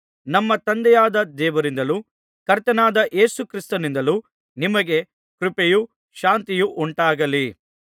ನಮ್ಮ ತಂದೆಯಾದ ದೇವರಿಂದಲೂ ಕರ್ತನಾದ ಯೇಸು ಕ್ರಿಸ್ತನಿಂದಲೂ ನಿಮಗೆ ಕೃಪೆಯು ಶಾಂತಿಯೂ ಉಂಟಾಗಲಿ